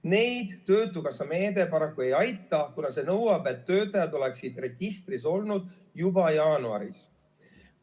Neid töötukassa meede paraku ei aita, kuna see nõuab, et töötajad oleksid registris olnud juba jaanuaris.